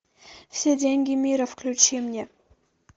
все деньги мира включи мне